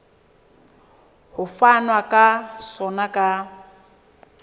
ho fanwa ka sona ka